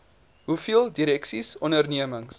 hoeveel direksies ondernemings